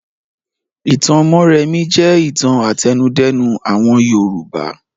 Ìtàn Mórèmí jẹ́ ìtàn àtẹnudẹ́nu àwọn Yorùbá.